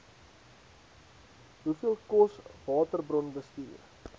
hoeveel kos waterbronbestuur